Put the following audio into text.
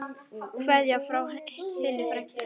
Kveðja frá þinni frænku.